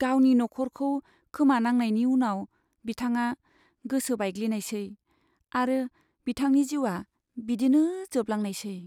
गावनि नखरखौ खोमानांनायनि उनाव, बिथाङा गोसो बायग्लिनायसै आरो बिथांनि जिउआ बिदिनो जोबलांनायसै।